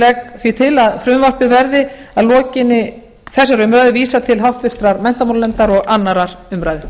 legg því til að frumvarpinu verði að lokinni þessari umræðu vísað til háttvirtrar menntamálanefndar og annarrar umræðu